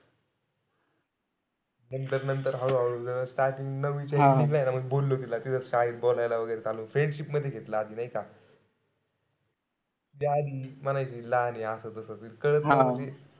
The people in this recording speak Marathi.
नंतर-नंतर हळूहळू starting बोललो तिला. तिथं शाळेत बोलायला वगैरे चालू. friendship मध्ये घेतलं आधी नाई का? ती आधी म्हणायची लहान ए असं तस.